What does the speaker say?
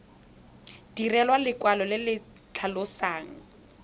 direlwa lekwalo le le tlhalosang